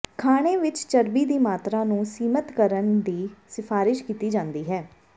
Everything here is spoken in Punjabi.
ਖਾਣੇ ਵਿੱਚ ਚਰਬੀ ਦੀ ਮਾਤਰਾ ਨੂੰ ਸੀਮਤ ਕਰਨ ਦੀ ਸਿਫਾਰਸ਼ ਕੀਤੀ ਜਾਂਦੀ ਹੈ